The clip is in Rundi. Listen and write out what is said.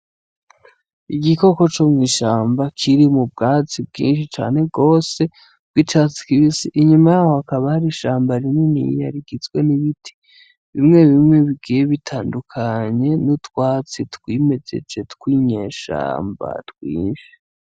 Igikoko comwishamba kiri mubwatsi bwinshi cane gose bwicatsi kibisi, inyuma yaco hakaba hari ishamba ririniya rigizwe nibiti bimwe bimwe bigiye bitandukanye nutwatsi twinyegeje twinyeshamba twinshi.